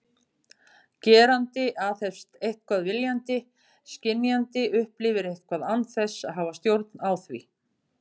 Gerandi aðhefst eitthvað viljandi, skynjandi upplifir eitthvað án þess að hafa stjórn á því.